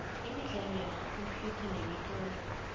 imidlalo yamakhompyutha nemitlolo